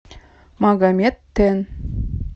магомед тен